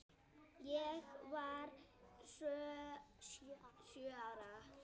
Ég var sjö ára.